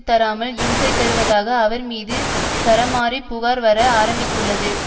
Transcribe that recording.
தராமல் இம்சை தருவதாக அவர் மீது சரமாரி புகார் வர ஆரம்பித்துள்ளது